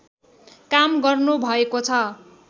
काम गर्नुभएको छ